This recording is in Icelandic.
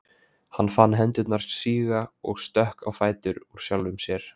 Hann fann hendurnar síga og stökk á fætur úr sjálfum sér.